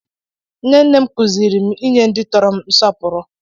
Nne nne m kụziiri m inye ndị tọrọ m nsọpụrụ.